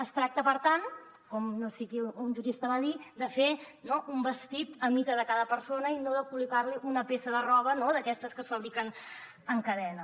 es tracta per tant com un jurista va dir de fer no un vestit a mida de cada persona i no de col·locar li una peça de roba d’aquestes que es fabriquen en cadena